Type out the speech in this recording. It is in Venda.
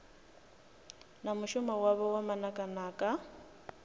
na mushumo wavho wa manakanaka